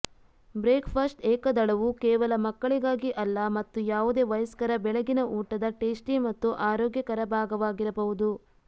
breakfast ಏಕದಳವು ಕೇವಲ ಮಕ್ಕಳಿಗಾಗಿ ಅಲ್ಲ ಮತ್ತು ಯಾವುದೇ ವಯಸ್ಕರ ಬೆಳಗಿನ ಊಟದ ಟೇಸ್ಟಿ ಮತ್ತು ಆರೋಗ್ಯಕರ ಭಾಗವಾಗಿರಬಹುದು